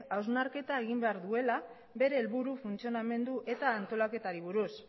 hausnarketa egin behar duela bere helburu funtzionamendu eta antolaketari buruz